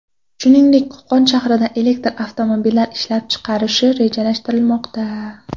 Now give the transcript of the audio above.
Shuningdek, Qo‘qon shahrida elektr avtomobillari ishlab chiqarish rejalashtirilmoqda .